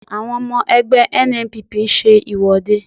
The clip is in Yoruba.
Àwọn ọmọ ẹgbẹ́ NNPP ń ṣe ìwọ́de